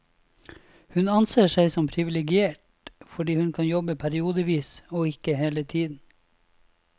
Hun anser seg som privilegert, fordi hun kan jobbe periodevis og ikke hele tiden.